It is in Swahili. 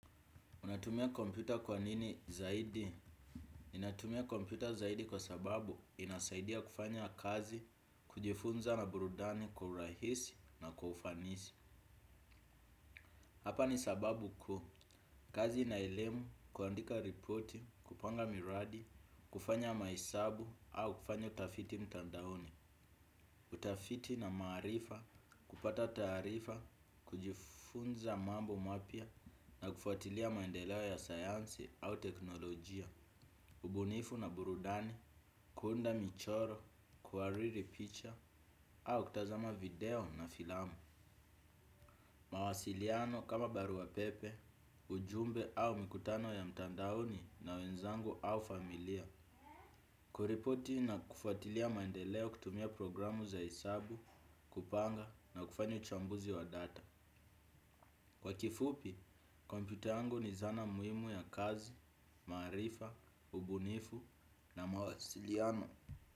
Unatumia kompyuta kwa nini zaidi? Ninatumia kompyuta zaidi kwa sababu inasaidia kufanya kazi, kujifunza na burudani kwa urahisi na kwa ufanisi. Hapa ni sababu kuu. Kazi na elimu, kuandika ripoti, kupanga miradi, kufanya mahesabu au kufanya utafiti mtandaoni. Kutafiti na marifa, kupata taarifa, kujifunza mambo mapya na kufatilia maendeleo ya sayansi au teknolojia. Ubunifu na burudani, kuunda michoro, kuhariri picha, au kutazama video na filamu. Mawasiliano kama barua pepe, ujumbe au mikutano ya mtandaoni na wenzangu au familia. Kuripoti na kufatilia maendeleo kutumia programu za hesabu, kupanga na kufanya uchambuzi wa data. Kwa kifupi, kompyuta yangu ni zana muhimu ya kazi, maarifa, ubunifu na mawasiliano.